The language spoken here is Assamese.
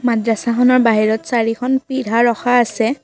মাদ্ৰাছাখনৰ বাহিৰত চাৰিখন পিঢ়া ৰখা আছে।